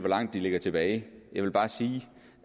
hvor langt de ligger tilbage jeg vil bare sige